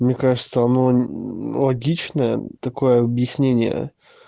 мне кажется оно логично такое объяснение